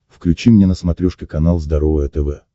включи мне на смотрешке канал здоровое тв